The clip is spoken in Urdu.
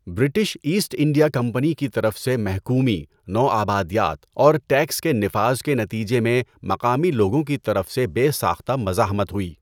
برٹش ایسٹ انڈیا کمپنی کی طرف سے محکومی، نوآبادیات اور ٹیکس کے نفاذ کے نتیجے میں مقامی لوگوں کی طرف سے بے ساختہ مزاحمت ہوئی۔